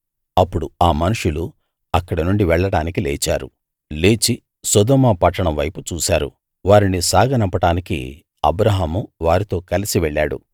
అప్పుడు ఆ మనుషులు అక్కడనుండి వెళ్ళడానికి లేచారు లేచి సొదొమ పట్టణం వైపు చూసారు వారిని సాగనంపడానికి అబ్రాహాము వారితో కలిసి వెళ్ళాడు